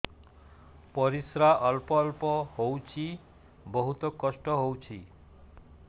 ପରିଶ୍ରା ଅଳ୍ପ ଅଳ୍ପ ହଉଚି ବହୁତ କଷ୍ଟ ହଉଚି